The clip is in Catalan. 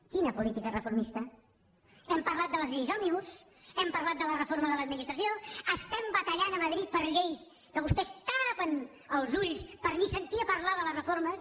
quina política reformista hem parlat de les lleis òmnibus hem parlat de la reforma de l’administració estem batallant a madrid per lleis en què vostès es tapen els ulls per ni sentir a parlar de les reformes